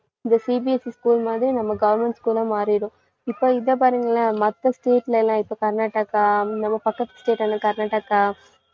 இந்த CBSE school மாதிரி நம்ம government school உம் மாறிடும். இப்ப இத பாருங்களேன் மத்த state ல எல்லாம் இப்ப கர்நாடகா, நம்ம பக்கத்து state ஆன கர்நாடகா